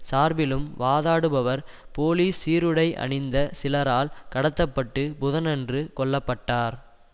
சார்பிலும் வாதாடுபவர் போலீஸ் சீருடை அணிந்த சிலரால் கடத்த பட்டு புதனன்று கொல்ல பட்டார்